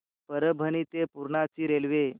परभणी ते पूर्णा ची रेल्वे